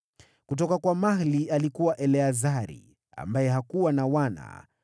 Kutoka kwa Mahli: alikuwa Eleazari, ambaye hakuwa na wana.